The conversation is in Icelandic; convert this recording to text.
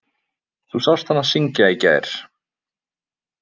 Þú sást hana syngja í gær.